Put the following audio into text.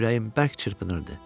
Ürəyim bərk çırpınırdı.